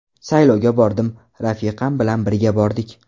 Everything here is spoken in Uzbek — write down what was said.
Saylovga bordim, rafiqam bilan birga bordik.